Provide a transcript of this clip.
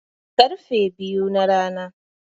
Karfe biyu na rana